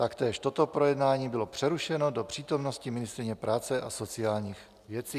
Taktéž toto projednání bylo přerušeno do přítomnosti ministryně práce a sociálních věcí.